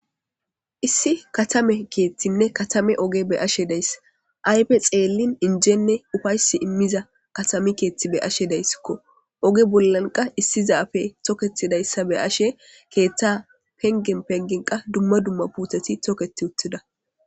Issi katame kethinne katame oge be'ashe days ayfe xelin injenne ufaysi imiza katame kethi be'ashe deyskko oge bola qa issi zafe toketidaysa be'ashe ketha pengen pengen qa duma duma puteti toketi uttida.